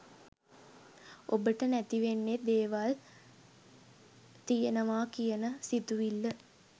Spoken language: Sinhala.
ඔබට නැතිවෙන්න දේවල් තියෙනවා කියන සිතුවිල්ල